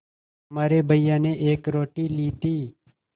तुम्हारे भैया ने एक रोटी ली थी